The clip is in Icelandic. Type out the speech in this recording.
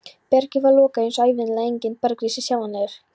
Bergið var lokað eins og ævinlega og enginn bergrisi sjáanlegur.